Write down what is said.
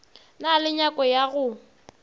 na le nyako ya go